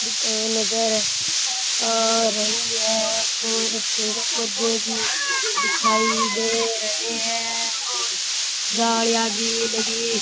दूकान नज़र आ रही है और पेड़ पौधे भी दिखाई दे रहे है और जालिया भी लगी --